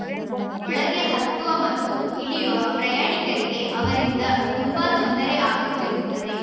ಒಳಗೆ ಹತ್ತುವ ಮತ್ತು ಇಳಿಯುವ ಪ್ರಯಾಣಿಕರಿಗೆ ಅವರಿಂದ ತುಂಬಾ ತೊಂದರೆ ಆಗುತ್ತಿರುತ್ತದೆ